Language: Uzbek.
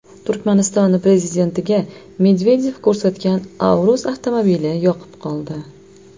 Turkmaniston prezidentiga Medvedev ko‘rsatgan Aurus avtomobili yoqib qoldi.